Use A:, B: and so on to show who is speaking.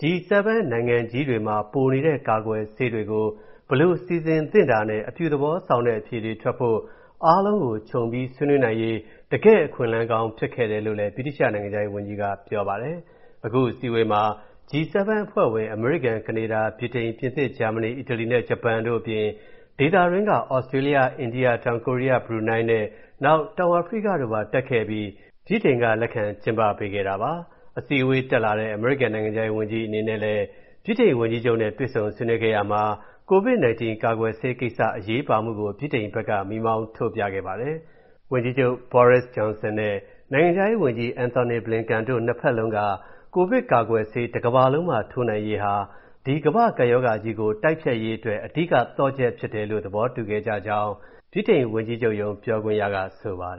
A: G7 နိုင်ငံကြီးတွေမှာ ပိုနေတဲ့ ကာကွယ်ဆေးတွေကို ဘယ်လိုစီစဉ်သင့်တာနဲ့ အပြုသဘောဆောင်တဲ့အဖြေတွေထွက်ဖို့ အားလုံးကို ခြုံဆွေးနွေးနိုင်ရေး တကယ့်အခွင့်အလမ်းကောင်းဖြစ်ခဲ့တယ်လို့လည်း ဗြိတိသျှနိုင်ငံခြားရေးဝန်ကြီးက ပြောပါတယ်။ အခု အစည်းအဝေးမှာ G7 အဖွဲ့ဝင် အမေရိကန်၊ ကနေဒါ၊ ဗြိတိန်၊ ပြင်သစ်၊ ဂျာမနီ၊ အီတလီနဲ့ ဂျပန်တို့အပြင်၊ ဒေသတွင်းက သြစတြေးလျ၊ အိန္ဒိယ၊ တောင်ကိုရီးယား၊ ဘရူနိုင်းနဲ့၊ နောက် တောင်အာဖရိတို့ပါတက်ခဲ့ပြီး ဗြိတိန်ကလက်ခံကျင်းပပေးတာပါ။ အစည်းအဝေးလာတတ်တဲ့ အမေရိကန်နိုင်ငံခြားရေးဝန်ကြီးအနေနဲ့လည်း ဗြိတိန်ဝန်ကြီးချုပ်နဲ့ တွေ့ဆုံဆွေးနွေးခဲ့ရာမှာ ကိုဗစ်-19 ကာကွယ်ဆေးကိစ္စအရေးပါမှုကို ဗြိတိန်ဘက်က မီးမောင်းထိုးပြခဲ့ပါတယ်။ ဝန်ကြီးချုပ် Boris Johnson နဲ့ နိုင်ငံခြားရေးဝန်ကြီး Antony Blinken တို့နှစ်ဘက်လုံးက၊ ကိုဗစ်ကာကွယ်ဆေးတစ်ကမ္ဘာလုံးမှာ ထိုးနိုင်ရေးဟာ ဒီကမ္ဘာ့ကပ်ရောဂါကြီးတိုက်ဖျက်ရေးအတွက် အဓိကသော့ချက်ဖြစ်တယ်လို့ သဘောတူခဲ့ကြကြောင်း ဗြိတိန်ဝန်ကြီးချုပ်ရုံး ပြောခွင့်ရကဆိုပါတယ်